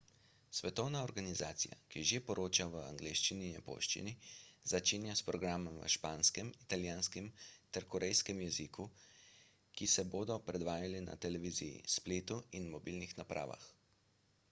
svetovna organizacija ki že poroča v angleščini in japonščini začenja s programi v španskem italijanskem ter korejskem jeziku ki se bodo predvajali na televiziji spletu in mobilnih napravah